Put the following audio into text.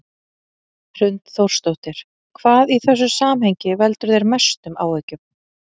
Hrund Þórsdóttir: Hvað í þessu samhengi veldur þér mestum áhyggjum?